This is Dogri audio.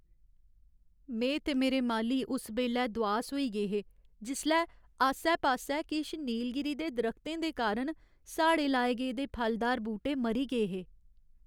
में ते मेरे माली उस बेल्लै दुआस होई गे हे जिसलै आस्सै पास्सै किश नीलगिरी दे दरख्तें दे कारण साढ़े लाए गेदे फलदार बूह्टे मरी गे हे।